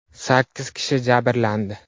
Sakkiz kishi jabrlandi.